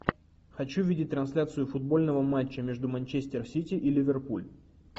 хочу видеть трансляцию футбольного матча между манчестер сити и ливерпуль